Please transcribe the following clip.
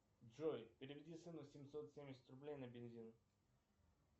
джой переведи сыну семьсот семьдесят рублей на бензин